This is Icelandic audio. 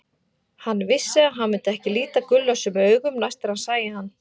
Hann vissi að hann myndi ekki líta Gulla sömu augum næst þegar hann sæi hann.